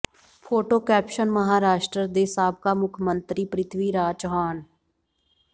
photo caption Maharashtra ਦੇ ਸਾਬਕਾ ਮੁੱਖ ਮੰਤਰੀ ਪ੍ਰਿਥਵੀ ਰਾਜ ਚੌਹਾਨ